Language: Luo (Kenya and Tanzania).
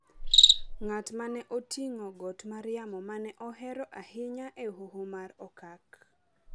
ng’at ma ne oting’o got mar yamo ma ne ohero ahinya e Hoho mar Okak